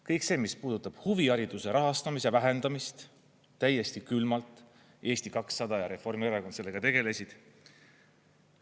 Kõik see, mis puudutab huvihariduse rahastamise vähendamist, täiesti külmalt Eesti 200 ja Reformierakond sellega tegelesid.